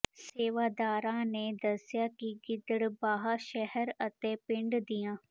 ਸੇਵਾਦਾਰਾਂ ਨੇ ਦੱਸਿਆ ਕਿ ਗਿੱਦੜਬਾਹਾ ਸ਼ਹਿਰ ਅਤੇ ਪਿੰਡ ਦੀਆਂ